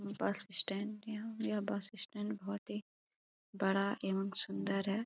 बस स्टैंड है। यह बस स्टैंड बहुत ही बड़ा एण्ड सुंदर है।